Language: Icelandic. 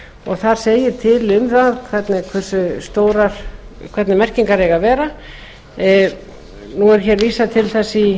það segir til um það hvernig merkingar eiga að vera nú er hér vísað til þess í